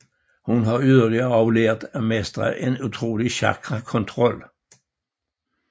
Hun har yderligere også lært at mestre en utrolig chakra kontrol